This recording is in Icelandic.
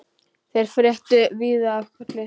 Þeir fréttu víða af Kolli.